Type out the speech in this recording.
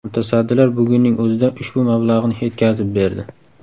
Mutasaddilar bugunning o‘zida ushbu mablag‘ni yetkazib berdi.